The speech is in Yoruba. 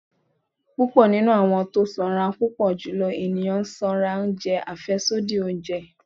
pupọ ninú awọn tọ sanra n Pupọ julọ eniyan sanra njẹ afẹsodi ounjẹ